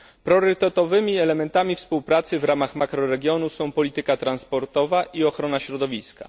Priorytetowymi elementami współpracy w ramach makroregionu są polityka transportowa i ochrona środowiska.